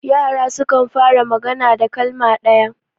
yara sukan fara magana da kalma ɗaya